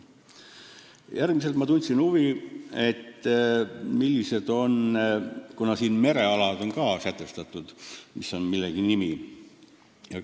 Järgmisena ma tundsin huvi, et kuna siin merealad on ka sätestatud, siis mis on millegi nimi.